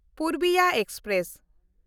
Purbiya express